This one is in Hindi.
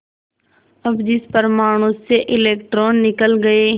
अब जिस परमाणु से इलेक्ट्रॉन निकल गए